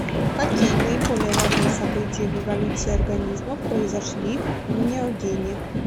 какие наиболее важные события в эволюции организмов произошли в неогене